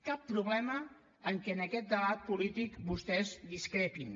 cap problema en que en aquest debat polític vostès discrepin